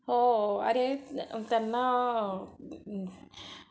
हो अरे त्यांना